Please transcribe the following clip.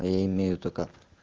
а я имею только